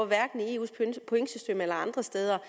hverken i eus pointsystem eller andre steder